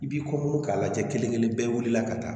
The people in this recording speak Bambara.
I b'i kɔkɔ dun k'a lajɛ kelen kelen bɛɛ wulila ka taa